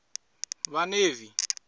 vhaḽevi